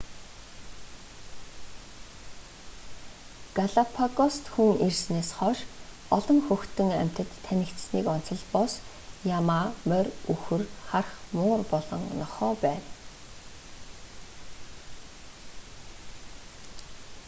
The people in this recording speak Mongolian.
галапагост хүн ирсэнээс хойш олон хөтөн амьтад танигдсаныг онцолбоос ямаа морь үхэр харх муур болон нохой байна